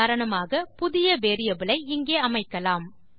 உதாரணமாக புதிய வேரியபிள் ஐ இங்கே அமைக்கலாம்